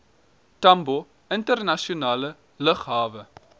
tambo internasionale lughawe